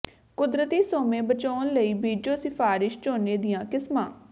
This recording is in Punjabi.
ਕੁਦਰਤੀ ਸੋਮੇ ਬਚਾਉਣ ਲਈ ਬੀਜੋ ਸਿਫ਼ਾਰਿਸ਼ ਝੋਨੇ ਦੀਆਂ ਕਿਸਮਾਂ